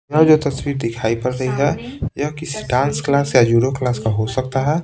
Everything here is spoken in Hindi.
यहाँ जो तस्वीर दिखाई पड़ रही है किसी डांस क्लास या यूरो क्लास का हो सकता है।